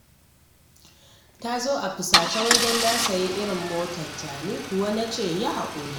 Ta zo a fusace wai don na sayi irin motarta, ni ko na ce yi haƙuri